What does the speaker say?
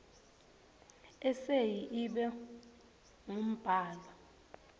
eseyi ibe ngumbhalo